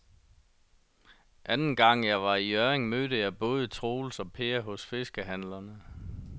Anden gang jeg var i Hjørring, mødte jeg både Troels og Per hos fiskehandlerne.